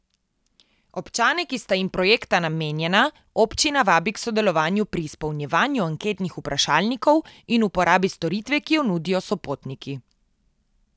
Občane, ki sta jim projekta namenjena, občina vabi k sodelovanju pri izpolnjevanju anketnih vprašalnikov in uporabi storitve, ki jo nudijo Sopotniki.